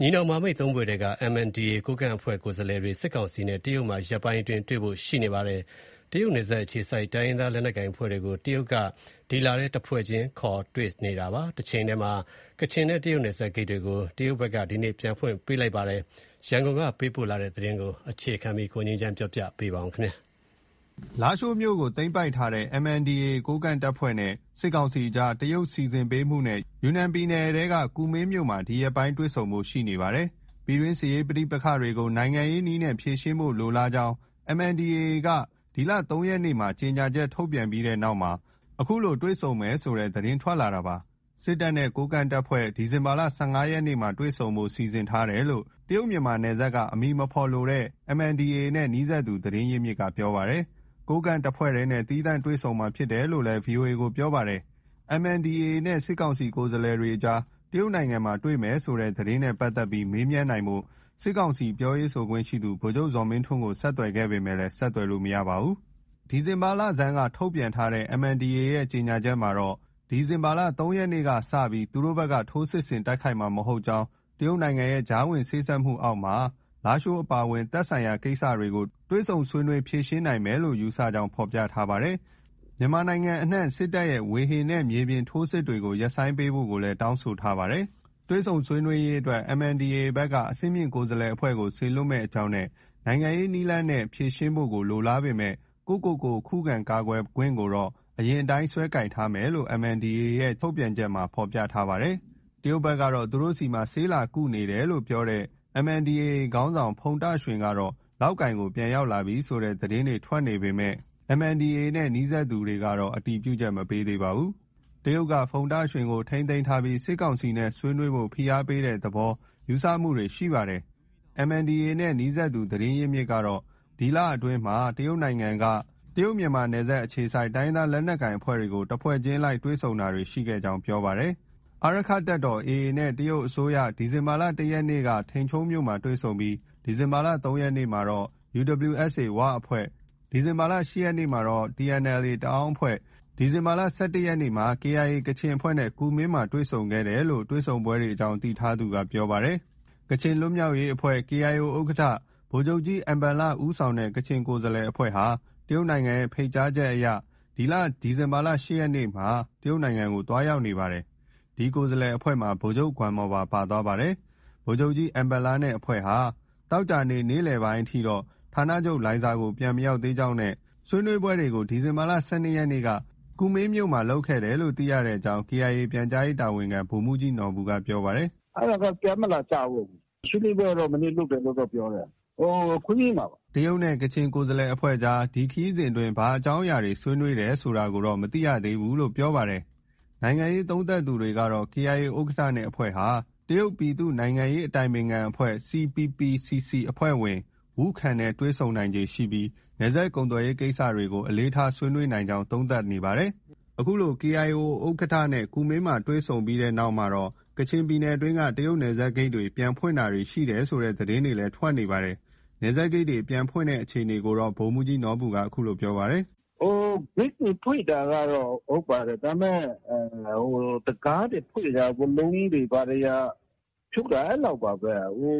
ညီနောင်မဟာမိတ် ၃ ဖွဲ့ထဲက MNDAA ကိုးကန့်အဖွဲ့ ကိုယ်စားလှယ်တွေ စစ်ကောင်စီနဲ့ တရုတ်နိုင်ငံမှာ ရက်ပိုင်းအတွင်း တွေ့ဆုံဖို့ရှိနေပါတယ်။ တရုတ်နယ်စပ်မှာအခြေစိုက်တဲ့ တိုင်းရင်းသားလက်နက်ကိုင် အဖွဲ့တွေကို တရုတ်ဘက်က အခုဒီဇင်ဘာလအတွင်းမှာ တဖွဲ့ချင်းစီ ခေါ်ယူတွေ့ဆုံနေတာဖြစ်ပါတယ်။ တချိန်တည်းမှာ ကချင်နဲ့ တရုတ်နယ်စပ်ဂိတ်တွေကို တရုတ်ဘက်က ဒီနေ့ ပြန်ဖွင့်ပေးလိုက်တယ်လို့ KIA ပြောခွင့်ရက ပြောပါတယ်။ ရန်ကုန်ကလာတဲ့သတင်းကို အခြေခံပြီး တင်ပြထားပါတယ်။ လားရှိုးမြို့ကို သိမ်းပိုက်ထားတဲ့ MNDAA ကိုးကန့်အဖွဲ့နဲ့ စစ်ကောင်စီကြားမှာ တရုတ်စီစဉ်ပေးမှုနဲ့ ယူနန်ပြည်နယ်ထဲက ကူမင်းမြို့မှာ အခုရက်ပိုင်းတွေ့ဆုံဖို့ ရှိနေပါတယ်။ ပြည်တွင်းစစ်ရေးပဋိပက္ခကို နိုင်ငံရေးနည်းနဲ့ ဖြေရှင်းဖို့ လိုလားကြောင်း MNDAA က ဒီလ ၃ ရက်နေ့မှာ ကြေညာချက် ထုတ်ပြန်ပြီး တဲ့နောက် ခုလိုတွေ့ဆုံမယ်ဆိုတဲ့ သတင်းထွက်လာတာဖြစ်ပါတယ်။ စစ်တပ်နဲ့ ကိုးကန့်အဖွဲ့ ဒီဇင်ဘာ ၁၅ ရက်မှာ တွေ့ဆုံဖို့ စီစဉ်ထားတယ်လို့ တရုတ်- မြန်မာနယ်စပ်က အမည်မဖော်လိုတဲ့ MNDAA နဲ့ နီးစပ်သူ သတင်းရင်းမြစ်က ပြောပါတယ်။ ကိုးကန့်တဖွဲ့တည်းနဲ့ သီးသန့်တွေ့မှာဖြစ်တယ်လို့ VOA ကို ပြောပြပါတယ်။ MNDAA နဲ့ စစ်ကောင်စီ ကိုယ်စားလှယ်တွေ တရုတ်နိုင်ငံမှာ တွေ့ကြမယ်ဆိုတဲ့ သတင်းနဲ့ ပတ်သက်ပြီးမေးမြန်းနိုင်ဖို့ စစ်ကောင်စီ ပြောရေး ဆိုခွင့်ရှိသူ ဗိုလ်ချုပ်ဇော်မင်းထွန်းကို ဆက်သွယ်ခဲ့ပေမဲ့ ဆက်သွယ်လို့ မရခဲ့ပါဘူး။ ဒီဇင်ဘာလဆန်းက ထုတ်ပြန်တဲ့ MNDAA ရဲ့ ကြေညာချက်မှာ ဒီဇင်ဘာလ ၃ ရက်နေ့က စတင်ပြီး သူတို့ဘက်က ထိုးစစ်ဆင်တိုက်ခိုက်မှာ မဟုတ်ကြောင်း၊ တရုတ်နိုင်ငံရဲ့ကြားဝင်စေ့စပ်မှုအောက်မှာ လားရှိုးအပါအဝင် သက်ဆိုင်ရာကိစ္စတွေကို တွေ့ဆုံဆွေးနွေးဖြေရှင်းနိုင်မယ်လို့ ယူဆကြောင်း ဖော်ပြထားပါတယ်။ မြန်မာနိုင်ငံအနှံ့ စစ်တပ်ရဲ့ ဝေဟင်နဲ့ မြေပြင်ထိုးစစ်တွေကို ရပ်ဆိုင်းပေးဖို့ လည်း တောင်းဆိုထားပါတယ်။ တွေ့ဆုံဆွေးနွေးရေးအတွက် MNDAA က အဆင့်မြင့်ကိုယ်စားလှယ် အဖွဲ့ကို စေလွှတ်မယ့်အကြောင်းနဲ့ နိုင်ငံရေးနည်းလမ်းနဲ့ နည်းလမ်းနဲ့ ဖြေရှင်းဖို့ကို လိုလားပေမဲ့ ကိုယ့်ကိုကိုယ် ခုခံ ကာကွယ်ခွင့်ကိုတော့ အရင်အတိုင်း ဆွဲကိုင်ထားမယ်လို့ MNDAA ရဲ့ ထုတ်ပြန်ချက် မှာ ပြောထားပါတယ်။ တရုတ်ဘက်က သူတို့ဆီမှာ ဆေးလာကုနေတယ်လို့ပြောတဲ့ MNDAA ခေါင်းဆောင် ဖုန်တာရွှင်ကတော့ လောက်ကိုင်ကို ပြန်ရောက်လာပြီဆိုတဲ့ သတင်းတွေထွက်နေပေမဲ့ MNDAA နဲ့ နီးစပ်သူကတော့ အတည်ပြုချက် မပေးပါဘူး။ တရုတ်က ဖုန်တာရွှင်ကိုထိန်းသိမ်းထားပြီး စစ်ကောင်စီနဲ့ဆွေးနွေးဖို့ ဖိအားပေးတဲ့ သဘောလည်း ယူဆမှုတွေရှိပါတယ်။ MNDAA နဲ့ နီးစပ်သူ သတင်းရင်းမြစ်က ဒီလအတွင်းမှာ တရုတ်နိုင်ငံက တရုတ်-မြန်မာနယ်စပ် အခြေစိုက် တိုင်းရင်းသားလက်နက်ကိုင်အဖွဲ့တွေကို တဖွဲ့ချင်းအလိုက် တွေ့ဆုံတာတွေရှိခဲ့ကြောင်း ပြောပါတယ်။ အာရက္ခတပ်တော် AA နဲ့ တရုတ်အစိုးရဘက်က ဒီဇင်ဘာလ ၁ ရက်နေ့က ထိန်ချုံးမြို့မှာ တွေ့ဆုံပြီး ဒီဇင်ဘာလ ၃ ရက်နေ့ကတော့ UWSA ဝအဖွဲ့ ၊ ဒီဇင်ဘာလ ၈ ရက်နေ့မှာတော့ TNLA တအာင်းအဖွဲ့၊ ဒီဇင်ဘာလ ၁၁ ရက်နေ့မှာ KIA ကချင်အဖွဲ့နဲ့ ကူမင်းမှာ တွေ့ဆုံခဲ့တယ်လို့ တွေ့ဆုံပွဲတွေအကြောင်းသိထားသူက ပြောပါတယ်။ ကချင်လွတ်မြောက်ရေးအဖွဲ့ KIO ဥက္ကဋ္ဌ ဗိုလ်ချုပ်ကြီး အင်ဘန်လ ဦးဆောင်တဲ့ ကချင်ကိုယ်စားလှယ် အဖွဲ့ဟာ တရုတ်နိုင်ငံရဲ့ ဖိတ်ကြားချက်အရ ဒီလ ဒီဇင်ဘာ ၈ ရက်နေ့က တရုတ်နိုင်ငံကို သွားနေပါ တယ်။ ဒီကိုယ်စားလှယ်အဖွဲ့မှာ ဗိုလ်ချုပ်ဂွမ်မော်ပါ ပါသွားပါတယ်။ ဗိုလ်ချုပ်ကြီး အင်ဘန်လနဲ့အဖွဲ့ ဟာ ဒီကနေ့ သောကြာနေ့ နေ့လယ်ပိုင်းအထိတော့ ဌာနချုပ် လိုင်ဇာကို ပြန်မရောက်သေးကြောင်းနဲ့ ဆွေးနွေးပွဲကို ဒီဇင်ဘာ ၁၂ ရက်က ကူမင်းမြို့မှာ ပြုလုပ်တယ်လို့သိရကြောင်း KIA ပြန်ကြားရေးတာဝန်ခံ ဗိုလ်မှူးကြီးနော်ဘူက ပြောပါတယ်။ “အဲဒါက ပြန်မလာကြဘူး။ ဆွေးနွေးပွဲကတော့ မနေ့က လုပ်တယ်လို့တော့ပြောတယ်။ ဟို ခွန်းမင် (ကူမင်း) မှာပါ။” တရုတ်နဲ့ ကချင်ကိုယ်စားလှယ်အဖွဲ့ကြား ဒီခရီးစဉ်အတွင်း ဘာအကြောင်းအရာတွေ ဆွေးနွေးနေတယ် ဆိုတာတော့ မသိရသေးဘူးလို့ ပြောပါတယ်။ နိုင်ငံရေးသုံးသပ်သူတွေကတော့ KIO ဥက္ကဌဋ္ဌနဲ့ အဖွဲ့ဟာ တရုတ်ပြည်သူ့နိုင်ငံရေးအတိုင်ပင်ခံအဖွဲ့ (CPPCC) အဖွဲ့ဝင် Wu Ken နဲ့တွေ့ဆုံနိုင်ခြေရှိပြီး နယ်စပ်ကုန်သွယ်ရေးကိစ္စတွေကို အလေးထား ဆွေးနွေးနိုင်ကြောင်း သုံးသပ်တာတွေ ရှိနေပါတယ်။ အခုလို KIO ဥက္ကဋ္ဌနဲ့ ကူမင်းမှာ တွေ့ဆုံဆွေးနွေးပြီး တဲ့နောက်မှာတော့ ကချင်ပြည်နယ်အတွင်းက တရုတ်နယ်စပ်ဂိတ်တွေ ပြန်ဖွင့်တာတွေ ရှိတယ်ဆိုတဲ့ သတင်းတွေလည်း ထွက်ပေါ်ခဲ့ပါတယ်။ နယ်စပ် ဂိတ်တွေ ပြန်ဖွင့်တဲ့အခြေအနေကိုတော့ ဗိုလ်မှူးကြီးနော်ဘူက အခုလို ပြောပါတယ်။ “ဂိတ်တွေ ဖွင့်တာကတော့ ဟုတ်ပါတယ်။ ဒါပေမဲ့ တံခါးတွေဖွင့်တာ၊ ဝါးလုံးကြီးတွေ ဘာတွေဖြုတ်တာ အဲလောက်ပါပဲ။ ဟို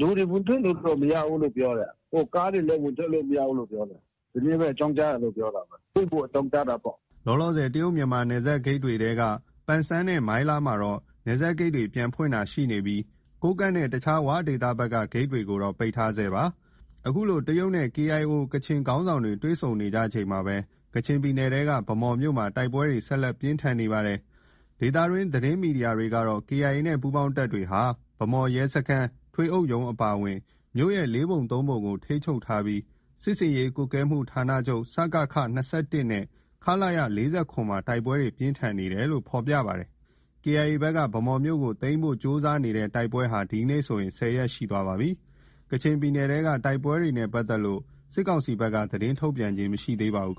လူတွေ ဝင်ထွက်လို့တော့ မရဘူးလို့ ပြောတယ်။ ကားတွေလည်း ဝင်ထွက်လို့တော့ မရဘူးလို့ ပြောတယ်။ ဒီနေ့ပဲ အကြောင်းကြားတယ်လို့ ပြောတာပဲ။ ဖွင့်ဖို့ အကြောင်းကြားတာပေါ့။” လောလောဆယ် တရုတ်-မြန်မာနယ်စပ်ဂိတ်တွေထဲက ပန်ဆန်းနဲ့ မိုင်းလားမှာတော့ နယ်စပ်ဂိတ်တွေ ပြန်ဖွင့်တာရှိနေပြီး ကိုးကန့်နဲ့ တခြား ဝ ဒေသဘက်က ဂိတ်တွေကိုတော့ ပိတ်ထားဆဲဖြစ်ပါတယ်။ အခုလို တရုတ်နဲ့ KIO ကချင်ခေါင်းဆောင်တွေ တွေ့ဆုံနေကြချိန်မှာပဲ ကချင်ပြည်နယ်ထဲက ဗန်းမော်မြို့မှာ တိုက်ပွဲတွေ ဆက်လက် ပြင်းထန်နေပါတယ်။ ဒေသတွင်းသတင်းမီဒီယာတွေကတော့ KIA နဲ့ ပူးပေါင်းတပ်တွေဟာ ဗန်းမော်ရဲစခန်း၊ ထွေအုပ်ရုံးအပါအဝင် မြို့ရဲ့ ၄ ပုံ ၃ပုံခန့်ကို ထိန်းချုပ် ထားပြီး စစ်ဆင်ရေး ကွပ်ကဲမှုဌာနချုပ် စကခ ၂၁ နဲ့ ခလရ ၄၇ မှာ တိုက်ပွဲတွေ ပြင်းထန်နေတယ်လို့ ဖော်ပြကြပါတယ်။ KIA ဘက်က ဗန်းမော်မြို့ကို သိမ်းနိုင်ဖို့ ကြိုးစားနေတဲ့ တိုက်ပွဲဟာ ဒီနေ့ဆိုရင် ၁၀ ရက်ရှိသွားပါပြီ။ ကချင်ပြည်နယ် တိုက်ပွဲတွေနဲ့ပတ်သက်လို့ စစ်ကောင်စီဘက်က သတင်းထုတ်ပြန်ခြင်း မရှိသေးပါဘူး